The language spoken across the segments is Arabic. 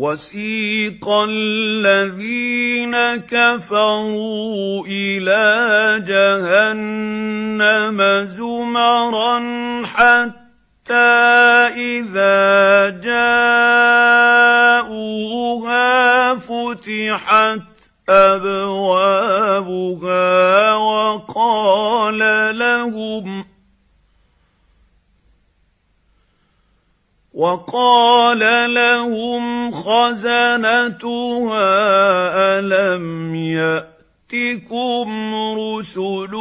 وَسِيقَ الَّذِينَ كَفَرُوا إِلَىٰ جَهَنَّمَ زُمَرًا ۖ حَتَّىٰ إِذَا جَاءُوهَا فُتِحَتْ أَبْوَابُهَا وَقَالَ لَهُمْ خَزَنَتُهَا أَلَمْ يَأْتِكُمْ رُسُلٌ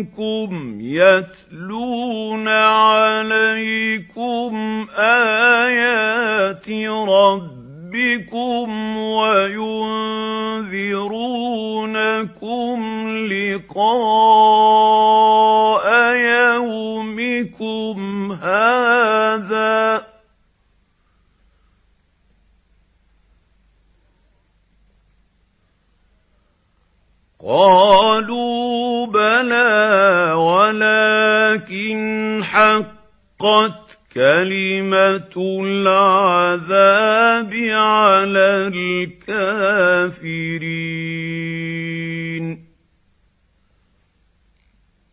مِّنكُمْ يَتْلُونَ عَلَيْكُمْ آيَاتِ رَبِّكُمْ وَيُنذِرُونَكُمْ لِقَاءَ يَوْمِكُمْ هَٰذَا ۚ قَالُوا بَلَىٰ وَلَٰكِنْ حَقَّتْ كَلِمَةُ الْعَذَابِ عَلَى الْكَافِرِينَ